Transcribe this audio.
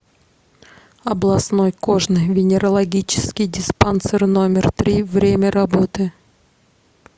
областной кожно венерологический диспансер номер три время работы